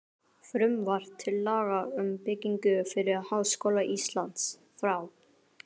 Frumvarp til laga um byggingu fyrir Háskóla Íslands, frá